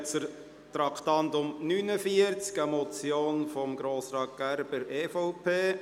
Wir kommen zum Traktandum 49, eine Motion von Grossrat Gerber, EVP: